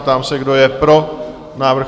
Ptám se, kdo je pro návrh?